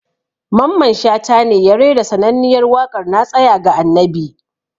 Mamman Shata ne ya rera sananniyar waƙar "na tsaya ga annabi"